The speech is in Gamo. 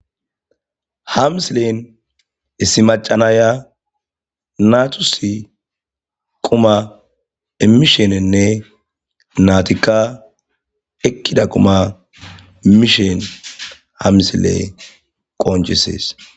Ha misilen issi macca nayiya naatussi quma immishininne naatikka ekkida quma mishin ha misile qnccisses.